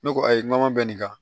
Ne ko ayi n ko ma bɛ nin kan